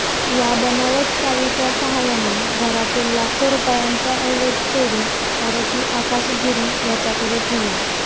या बनावट चावीच्या सहाय्याने घरातील लाखो रुपयांचा ऐवज चोरून आरोपी आकाश गिरी याच्याकडे ठेवला